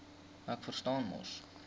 ek verstaan mos